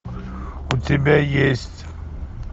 у тебя есть